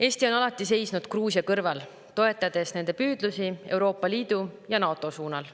Eesti on alati seisnud Gruusia kõrval, toetades nende püüdlusi Euroopa Liidu ja NATO suunal.